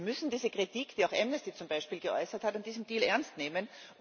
Wir müssen diese Kritik, die auch Amnesty zum Beispiel geäußert hat, an diesem Deal ernst nehmen.